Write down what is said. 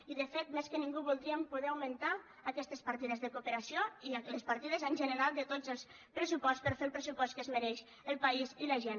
i de fet més que ningú voldríem poder augmentar aquestes partides de cooperació i les partides en general de tots els pressuposts per a fer el pressupost que es mereix el país i la gent